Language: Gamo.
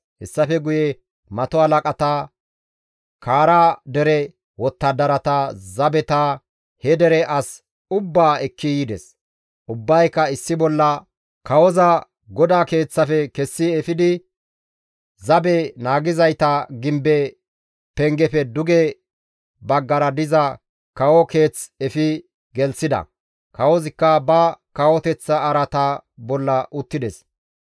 Hessafe guye mato halaqata, Kaara dere wottadarata, zabeta, he dere as ubbaa ekki yides; ubbayka issi bolla kawoza GODAA Keeththafe kessi efidi zabe naagizayta gimbe pengefe duge baggara diza kawo keeth efi gelththida. Kawozikka ba kawoteththa araata bolla uttides